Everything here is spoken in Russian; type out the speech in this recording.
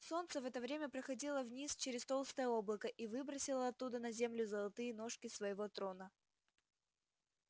солнце в это время проходило вниз через толстое облако и выбросило оттуда на землю золотые ножки своего трона